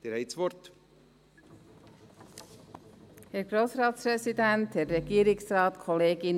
Kommissionssprecherin der GSoK-Minderheit.